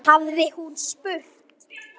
hafði hún spurt.